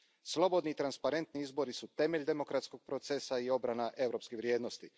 Slobodni i transparentni izbori su temelj demokratskog procesa i obrana europske vrijednosti.